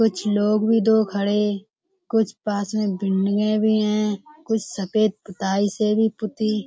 कुछ लोग भी दो खड़े। कुछ पास में बिल्डिंगें भी हैं। कुछ सफेद पुताई से भी पुती --